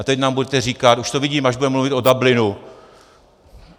A teď nám budete říkat - už to vidím, až budeme mluvit o Dublinu...